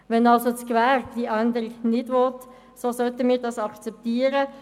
Wenn also das Gewerbe die Änderung ablehnt, sollten wir das akzeptieren.